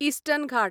eastern Ghat